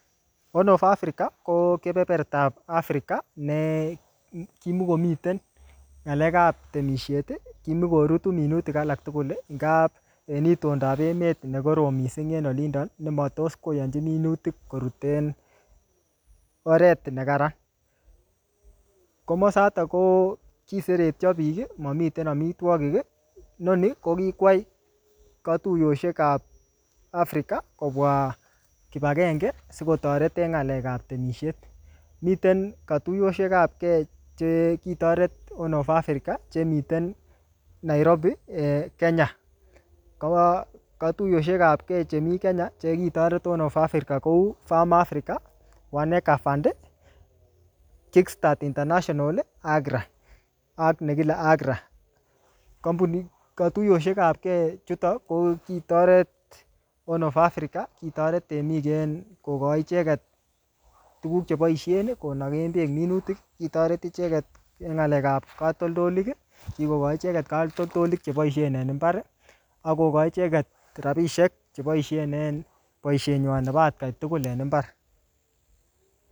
Horn of Africa, ko keperertap Africa, ne kimukomiten ng'alekap temisiet. Kimukorutu minutik alak tugul, ngaa en itondap emet ne korom missing en olindon, ne matos koyonchin minutik koruten oret en kararan. Komosatak ko kiseretio biik, mamiten amitwogik. Inoni, ko kikwai katuyoshek ap Africa kobwa kibagenge, sikotoret en ng'alek ap temisiet. Miten katuyoshek apke che kitoret Horn of Africa, chemiten Nairobi um Kenya. Katuyoshekapke chemii Kenya, che kitoret Horn of Africa kou, Farm Africa, One Acre Fund, Kick Start International akra, ak ne kile Agra. Katuyoshekapke chuton, ko kitoret Horn of Africa, kitoret temik en kokochin icheket tuguk che boisien konaken beek minutik. Kitoret icheket en ng'alekap katoltolik. Kikokochi icheket katoltolik che boisien en mbar, akokochi icheket rabisiek che boisien en boisiet nywan nebo atkain tugul en mbar